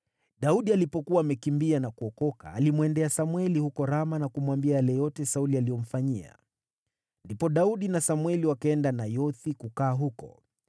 Daudi alipokuwa amekimbia na kuokoka, alimwendea Samweli huko Rama na kumwambia yale yote Sauli alimfanyia. Ndipo Daudi na Samweli wakaenda Nayothi kukaa huko.